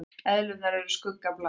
Eðlurnar eru skuggabláar.